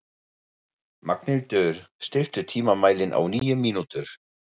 Magnhildur, stilltu tímamælinn á níu mínútur.